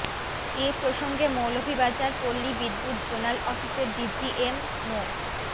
এ প্রসঙ্গে মৌলভীবাজার পল্লী বিদ্যুৎ জোনাল অফিসের ডিজিএম মো